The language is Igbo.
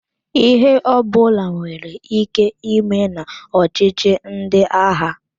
Ihe ọbụla nwere ike ime na ọchịchi ndị agha.